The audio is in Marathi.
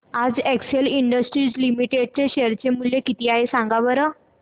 आज एक्सेल इंडस्ट्रीज लिमिटेड चे शेअर चे मूल्य किती आहे सांगा बरं